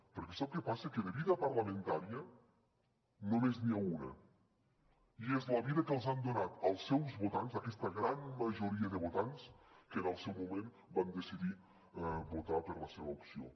perquè sap què passa que de vida parlamentària només n’hi ha una i és la vida que els han donat els seus votants aquesta gran majoria de votants que en el seu moment van decidir votar per la seva opció